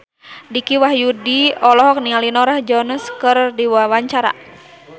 Dicky Wahyudi olohok ningali Norah Jones keur diwawancara